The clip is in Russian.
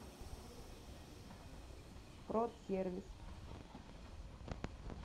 продсервис